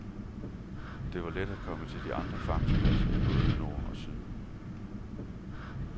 Det var let at komme til de andre fangstpladser i både nord og syd.